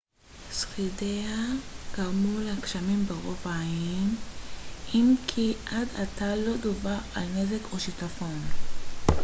שרידיה גרמו לגשמים ברוב האיים אם כי עד עתה לא דווח על נזק או שיטפון